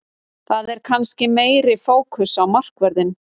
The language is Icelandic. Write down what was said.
Það er kannski bara meiri fókus á markvörðinn.